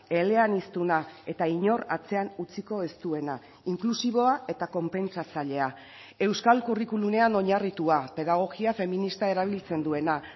eleaniztuna eta inor atzean utziko ez duena inklusiboa eta konpentsatzailea euskal curriculumean oinarritua pedagogia feminista erabiltzen duena